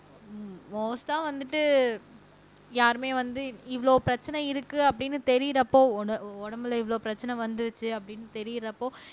மோஸ்ட்டா வந்துட்டு யாருமே வந்து இவ்வளவு பிரச்சனை இருக்கு அப்படின்னு தெரியறப்போ உட உடம்புல இவ்வளவு பிரச்சனை வந்துச்சு அப்படின்னு தெரியறப்போ